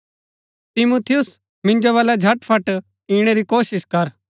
तिमुथियुस मिन्जो बलै झटफट इणै री कोशिश कर